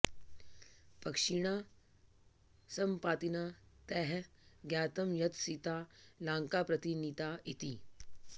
पक्षिणा सम्पातिना तैः ज्ञातं यत् सीता लाङ्कां प्रति नीता इति